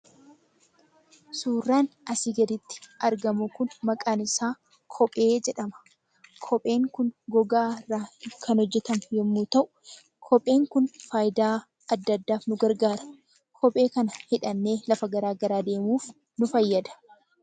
Suuraan asirratti argamu kun maqaan isaa kophee jedhama. Kopheen kun gogaa irraa kan hojjatame yommuu ta'u, kopheen kun faayidaa adda addaatiif nu gargaara. Kophee kana hidhannee lafa garaagaraa deemuuf nu fayyada.